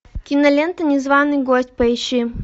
кинолента незваный гость поищи